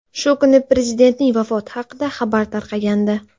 Shu kuni prezidentning vafoti haqida xabar tarqagandi.